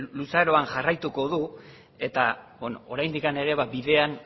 luzaroan jarraituko du eta oraindik ere bidean